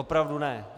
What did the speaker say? Opravdu ne!